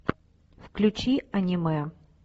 включи аниме